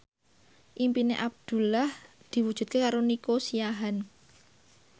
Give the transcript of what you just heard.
impine Abdullah diwujudke karo Nico Siahaan